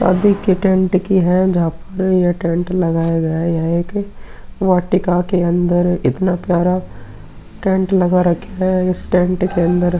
शादी के टेंट की है जहां पर ये टेंट लगाया गया। यह एक वाटिका के अंदर इतना प्यार टेंट लगा रखा है। इस टेंट के अंदर --